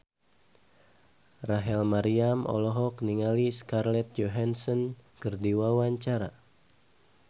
Rachel Maryam olohok ningali Scarlett Johansson keur diwawancara